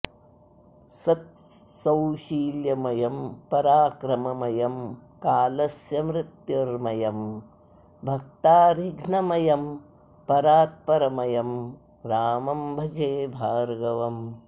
सत्सौशील्यमयं पराक्रममयं कालस्य मृत्युर्मयं भक्तारिघ्नमयं परात्परमयं रामम्भजे भार्गवम्